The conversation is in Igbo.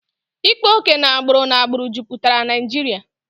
Ịkpa oke na agbụrụ n'agbụrụ jupụtara Naijiria